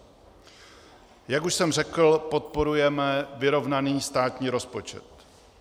Jak už jsem řekl, podporujeme vyrovnaný státní rozpočet.